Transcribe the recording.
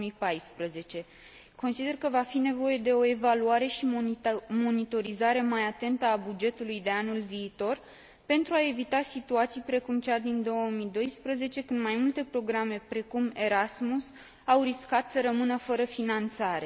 2014. Consider că va fi nevoie de o evaluare și monitorizare mai atentă a bugetului de anul viitor, pentru a evita situații precum cea din 2012, când mai multe programe, precum Erasmus, au riscat să rămână fără finanțare.